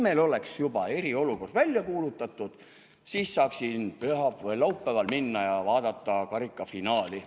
Kui meil oleks juba eriolukord välja kuulutatud, siis saaksin laupäeval minna ja vaadata karikafinaali.